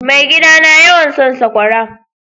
Mai gida na yawan son sakwara.